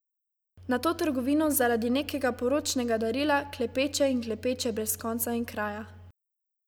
Nato trgovino zaradi nekega poročnega darila, klepeče in klepeče brez konca in kraja.